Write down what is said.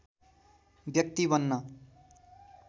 व्यक्ति बन्न